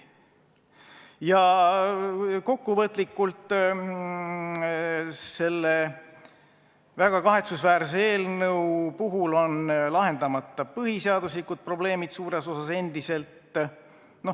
Kokkuvõtlikult: selle väga kahetsusväärse eelnõu puhul on endiselt suures osas lahendamata põhiseaduslikud probleemid.